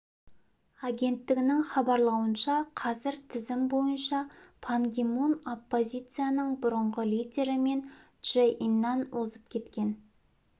агенттігінің хабарлауынша қазір тізім бойынша пан ги мун оппозицияның бұрынғы лидері мун чжэ иннан озып кеткен